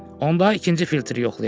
Onda ikinci filtri yoxlayaq.